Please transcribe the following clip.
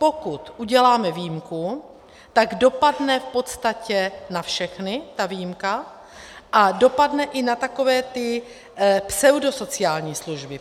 Pokud uděláme výjimku, tak dopadne v podstatě na všechny, ta výjimka, a dopadne i na takové ty pseudosociální služby.